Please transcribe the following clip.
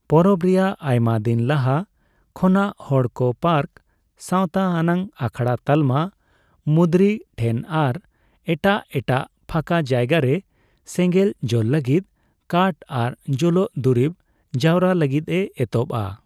ᱯᱚᱨᱚᱵᱽ ᱨᱮᱭᱟᱜ ᱟᱭᱢᱟ ᱫᱤᱱ ᱞᱟᱦᱟ ᱠᱷᱚᱱᱟᱜ ᱦᱚᱲᱠᱚ ᱯᱟᱨᱠ, ᱥᱟᱣᱛᱟ ᱟᱱᱟᱜ ᱟᱠᱷᱲᱟ ᱛᱟᱞᱢᱟ, ᱢᱩᱫᱽᱨᱤ ᱴᱷᱮᱱ ᱟᱨ ᱮᱴᱟᱜ ᱮᱴᱟᱜ ᱯᱷᱟᱠᱟ ᱡᱟᱭᱜᱟᱨᱮ ᱥᱮᱸᱜᱮᱞ ᱡᱳᱞ ᱞᱟᱹᱜᱤᱫ ᱠᱟᱴᱷ ᱟᱨ ᱡᱳᱞᱳᱜ ᱫᱩᱨᱤᱵᱽ ᱡᱟᱣᱨᱟ ᱞᱟᱹᱜᱤᱫ ᱮ ᱮᱛᱚᱦᱚᱵᱼᱟ ᱾